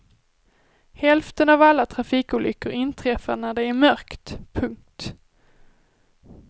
Hälften av alla trafikolyckor inträffar när det är mörkt. punkt